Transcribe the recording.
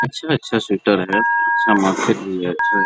अच्छा-अच्छा स्वेटर है अच्छा मार्केट भी है अच्छा --